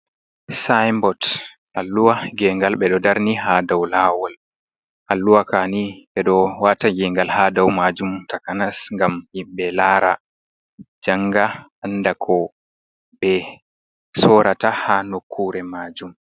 Sinbot alluwa gengal ɓeɗo darni ha dau lawol. Alluwa kani ɓeɗo wata gengal ha dau majum takanas gam yimɓe lara janga anda ko ɓe sorata ha nokkure majum.